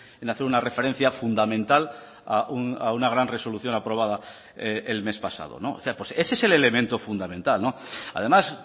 en hacer una referencia fundamental a una gran resolución aprobada el mes pasado ese es el elemento fundamental además